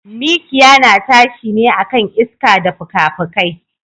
Mikiya na tashi ne akan iska da fukafukai.